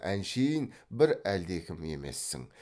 әншейін бір әлдекім емессің